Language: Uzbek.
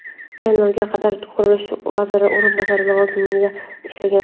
Tayinlovga qadar qurilish vaziri o‘rinbosari lavozimida ishlagan.